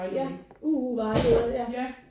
Ja U vejleder